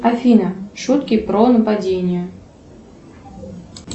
афина шутки про нападение